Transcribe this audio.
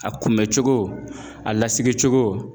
A kunbɛ cogo a lasigi cogo